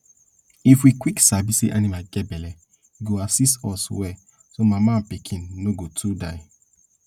if we quick sabi say animal get belle e go assist us well so mama and pikin no go too die